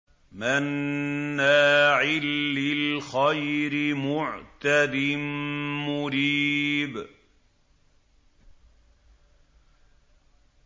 مَّنَّاعٍ لِّلْخَيْرِ مُعْتَدٍ مُّرِيبٍ